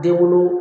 Denwolo